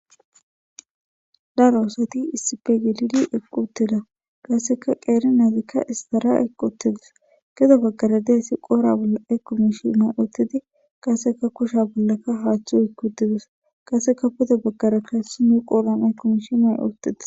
daro oosati issi pe gelidi eqqu uttida qasseka qeere naadikka istara equuttidis geda baggara deessi qoora bolla eku mishi may oottidi qaseka kusha bollaka haaththu ekkutidus qaseka puda baggarakka hessi nu qooran ekumishi may oottidis